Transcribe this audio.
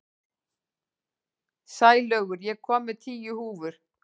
Sælaugur, ég kom með tíu húfur!